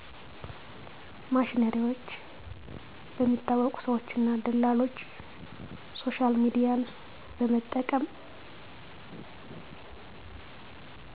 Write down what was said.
ማሽነሪዎች በሚታወቁ ሰዎች እና ደላሎች ሶሻልሚድያን በመጠቀም